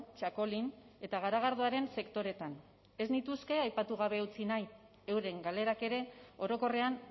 txakolin eta garagardoaren sektoreetan ez nituzke aipatu gabe utzi nahi euren galerak ere orokorrean